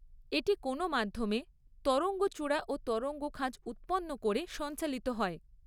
এটি কোন মাধ্যমে তরঙ্গচূড়া ও তরঙ্গখাঁজ উৎপন্ন করে সঞ্চালিত হয়।